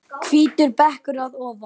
Hvítur bekkur að ofan.